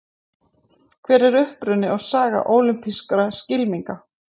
Hver er uppruni og saga ólympískra skylminga?